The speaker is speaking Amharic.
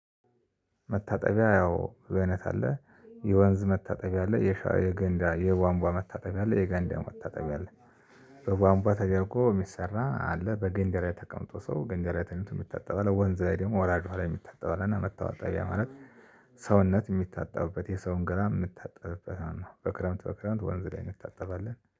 መታጠቢያ ያው ገነት አለ የወንዝ መታጠቢያ አለ የሻው የገንዳ የቧንቧዋ መታጠቢያ አለ የገንዳ መታጠብ ያለ በቧንቧ ተደርጎ ሚሰራ አለ በገንዳ ላይ ተቀምጦ ሰው ገንዳ ላይ ተኝቶ ሚታጠብ አለ ወንዝ ላይ ደግሞ ወራጅ ውሃ ላይ ሚታጠብ አለ እና መታጠቢያ ማለት ሰውነት ምታጠብበት የሰውን ገላ ምታጥብበት ማለት ነው። በክረምት በክረምት ወንዝ ላይ እንታጠባለን